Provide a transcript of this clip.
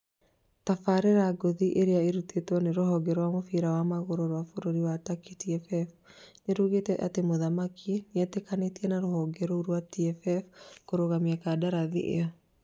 Tabarĩra nguhĩ ĩrĩa ĩrutĩtwo nĩ rũhonge rwa mũbira wa magũrũ rwa bũrũri wa Turkey TFF nĩrugĩte atĩ mũthaki Amunike nĩetĩkanĩtie na rũhonge rũu rwa TFF kũrũgamia kandarathi ĩyo